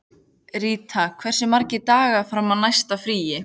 Ríta, hversu margir dagar fram að næsta fríi?